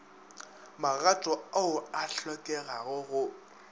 magato ao a hlokegago go